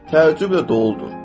Təəccüblə doludur.